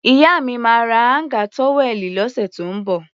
Ìyá mi máa ra áńgà tówẹ́ẹ̀nù lọ́sẹ̀ tó ń bọ̀.